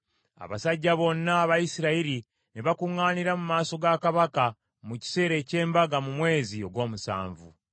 Abasajja bonna aba Isirayiri ne bakuŋŋaanira mu maaso ga kabaka mu kiseera eky’embaga mu mwezi ogw’omusanvu.